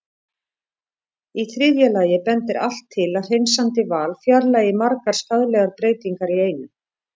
Í þriðja lagi bendir allt til að hreinsandi val fjarlægi margar skaðlegar breytingar í einu.